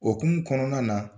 Hokumu kɔnɔna na